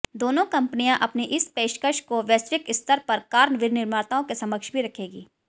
दोनों कंपनियां अपनी इस पेशकश को वैश्विक स्तर पर कार विनिर्माताओं के समक्ष भी रखेंगी